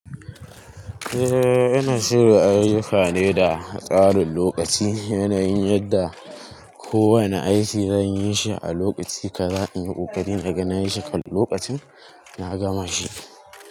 Eh, ina shiru an yi fyade da tsarin lokaci. Yanayin yadda kowane aiki zan yi shi a lokaci kaza in yi ƙoƙari naga na yi shi kan lokacin, na gama shi.